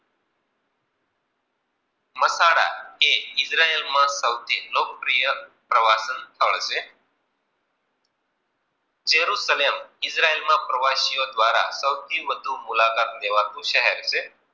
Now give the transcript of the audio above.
કે ઇજરાયાલ મા સૌથી લોક પ્રિય પ્રવાહ નુ સ્થલ છે. ચેરું કલિયશ્મ ઇજરયાલ માં પ્રવાસીઓ દ્વારા સૌથી વધુ મુલાકાત લેવાનુશહેર છે.